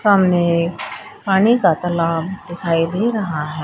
सामने पानी का तालाब दिखाई दे रहा है।